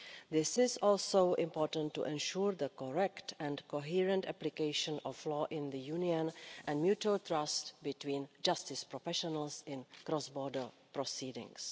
This is also important to ensure the correct and coherent application of law in the Union and mutual trust between justice professionals in cross border proceedings.